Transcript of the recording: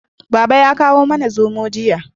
Baba ya kamo mana zomo jiya